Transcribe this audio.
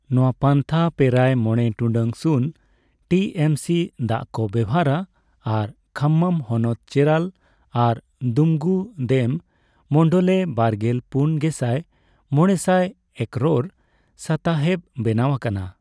ᱱᱚᱣᱟ ᱯᱟᱱᱛᱷᱟ ᱯᱮᱨᱟᱭ ᱢᱚᱲᱮ ᱴᱩᱰᱟᱹᱜ ᱥᱩᱱ ᱴᱤᱮᱢᱥᱤ ᱫᱟᱜ ᱠᱚ ᱵᱮᱵᱷᱟᱨᱟ ᱟᱨ ᱠᱷᱟᱢᱢᱟᱢ ᱦᱚᱱᱚᱛ ᱪᱮᱨᱟᱞᱟ ᱟᱨ ᱫᱩᱢᱩᱜᱩᱫᱮᱢ ᱢᱚᱱᱰᱚᱞᱮ ᱵᱟᱨᱜᱮᱞ ᱯᱩᱱ ᱜᱮᱥᱟᱭ ᱢᱚᱲᱮᱥᱟᱭ ᱮᱠᱨᱚᱨ ᱥᱟᱛᱟᱦᱮᱵ ᱵᱮᱱᱟᱣ ᱟᱠᱟᱱᱟ᱾